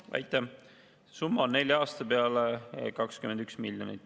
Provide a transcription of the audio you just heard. See summa on nelja aasta peale 21 miljonit.